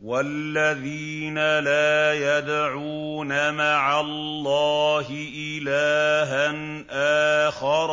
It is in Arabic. وَالَّذِينَ لَا يَدْعُونَ مَعَ اللَّهِ إِلَٰهًا آخَرَ